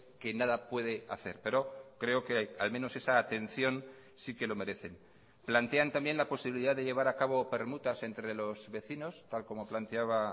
que nada puede hacer pero creo que al menos esa atención sí que lo merecen plantean también la posibilidad de llevar a cabo permutas entre los vecinos tal como planteaba